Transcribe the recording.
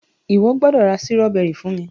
iwọ gbódò ra Sírọ́bẹ́rì fún mí!.